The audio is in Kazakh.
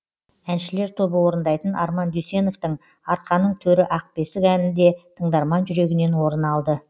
әншілер тобы орындайтын арман дүйсеновтің арқаның төрі ақ бесік әні де тыңдарман жүрегінен орын алды